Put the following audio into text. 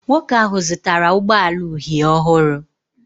Nwoke ahụ zụtara ụgbọ ala uhie ọhụrụ